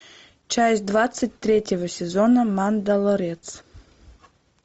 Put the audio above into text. часть двадцать третьего сезона мандалорец